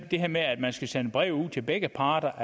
at det her med at man skal sende breve til begge parter